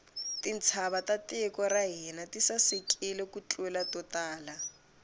tintshava ta tiko ra hina ti sasekile ku tlula to tala